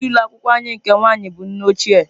Onye isi ụlọ akwụkwọ anyị nke nwaanyị bụ nne ochie